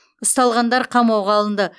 ұсталғандар қамауға алынды